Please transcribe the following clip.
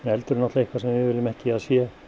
eldur er eitthvað sem við viljum ekki að sé